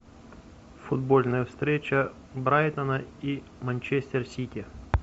футбольная встреча брайтона и манчестер сити